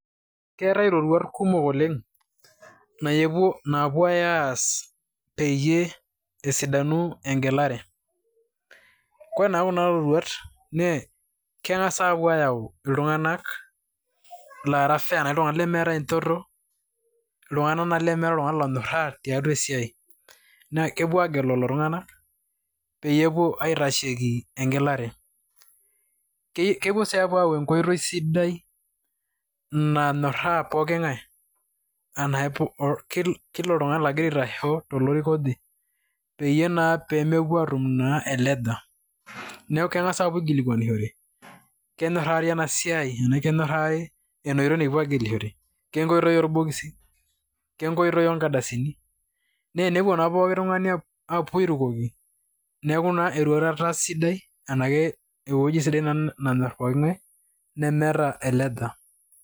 keeta iroruat kumok oleng naapuoi aas pee esapuku egelare, ore naa kuna roruat kumok naa keng'as aapuo aayau iltunganak laara fair arashu iltunganak lemeeta enchoto. iltungana laa lemeeta oltungani onyoraa tiatua esiai, naa kepuo aagelu iltunganak peyie epuo aitasheki egelare. kepuo sii apuo aayau enkoitoi sidai nanyoraa pooki ng'ae. anaa kila oltungani ogira aitashe tolorika oje. peyie naa pee mepuo aatum eleja. neku keng'as aapuo aikilikuanishore ,tenaa kenyorari ena siai nikipuo aagilishore, kenkoitoi orbokisi, kenkoitoi oonkardasini. naa enepuo naa pooki tungani aapuo airukoki, neeku naa eroruata sidai anake ewuii sidai nenyor pooki ng'ae nemeta eleja.